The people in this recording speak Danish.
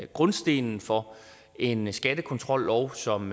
grundstenen for en skattekontrollov som